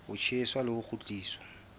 ho tjheswa le ho kgutliswa